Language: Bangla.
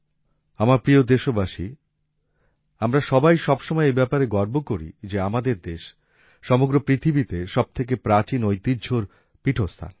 আমার প্রিয় দেশবাসী আমরা সবাই সব সময় এই ব্যাপারে গর্ব করি যে আমাদের দেশ সমগ্র পৃথিবীতে সবথেকে প্রাচীন ঐতিহ্যের পিঠস্থান